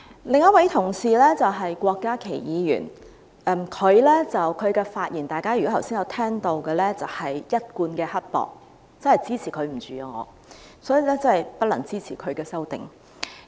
另一位同事是郭家麒議員，如果大家剛才有聆聽他的發言，便會留意到他是一貫的刻薄，我真的無法忍受他，所以我不能支持他的修正案。